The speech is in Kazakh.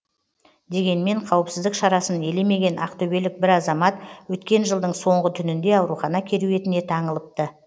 дегенмен қауіпсіздік шарасын елемеген ақтөбелік бір азамат өткен жылдың соңғы түнінде аурухана керуетіне таңылыпты